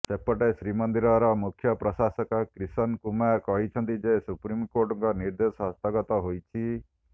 ସେପଟେ ଶ୍ରୀମନ୍ଦିର ମୁଖ୍ୟ ପ୍ରଶାସକ କ୍ରିଷନ କୁମାର କହିଛନ୍ତି ଯେ ସୁପ୍ରିମକୋର୍ଟଙ୍କ ନିର୍ଦ୍ଦେଶ ହସ୍ତଗତ ହୋଇଛି